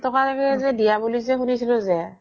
দিয়া বুলি যে শুনিছিলো যে